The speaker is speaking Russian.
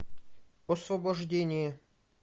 освобождение